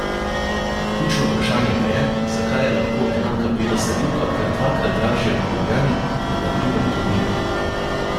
Ključno vprašanje pa je, zakaj je lahko enaka bela zalivka kar dvakrat dražja v Ljubljani kot na primer v Tolminu?